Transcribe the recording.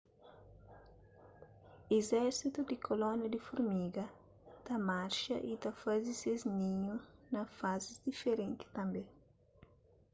izérsitu di kolónia di furmiga ta marxa y ta faze ses ninhu na fázis diferenti tanbê